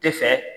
Tɛ fɛ